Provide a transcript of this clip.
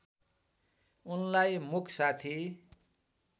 उनलाई मुक साथी